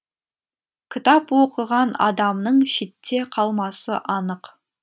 кітап оқыған адамның шетте калмасы анық